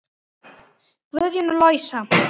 Guðjón og Louisa.